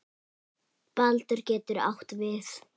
Baldur getur átt við